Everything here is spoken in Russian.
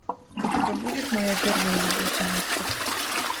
у тебя будет моя первая любовь монстр